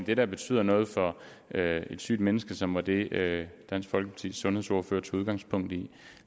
det der betyder noget for et sygt menneske som var det dansk folkepartis sundhedsordfører tog udgangspunkt i